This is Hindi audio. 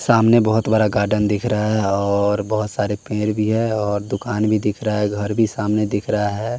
सामने बहोत बरा गार्डन दिख रहा है और बहोत सारे पेंर भी है और दुकान भी दिख रहा है घर भी सामने दिख रहा है।